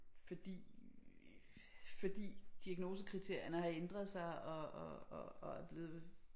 Fordi fordi diagnosekriterierne har ændret sig og og og og er blevet